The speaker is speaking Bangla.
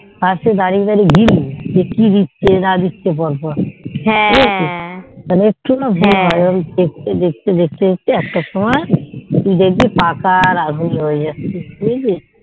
পাশে দাঁড়িয়ে দাঁড়িয়ে যে কি দিচ্ছেন না দিচ্ছে পর পর বুঝেছিস তাহলে না একটু বুজবি তারপর নয় দেখতে দেখতে একটা সময় ওই